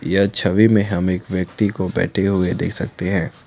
यह छवि में हम एक व्यक्ति को बैठे हुए देख सकते हैं।